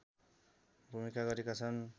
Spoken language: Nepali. भूमिका गरेका छन्